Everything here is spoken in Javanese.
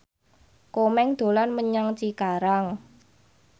Komeng dolan menyang Cikarang